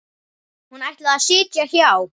Hún ætlaði að sitja hjá.